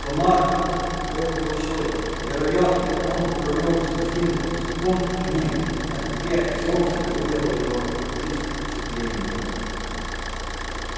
комар был большой вероятно он провёл всю зиму в сухом пне а теперь солнце вывело его из оцепления